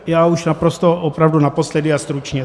Já už naprosto opravdu naposledy a stručně.